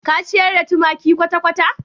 Ka ciyar da tumaki kwata-kwata?